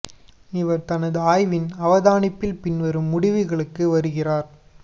இவர் தனது ஆய்வின் அவதானிப்பில் பின்வரும் முடிவுகளுக்கு வருகிறார்